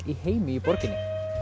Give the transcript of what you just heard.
í heimi í borginni